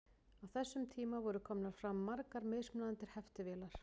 á þessum tíma voru komnar fram margar mismunandi heftivélar